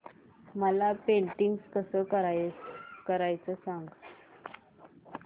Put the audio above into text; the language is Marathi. मला पेंटिंग कसं करायचं सांग